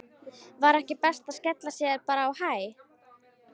Var ekki best að skella sér bara á Hæ?